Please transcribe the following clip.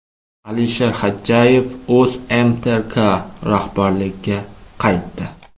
Alisher Xadjayev O‘zMTRK rahbarligiga qaytdi .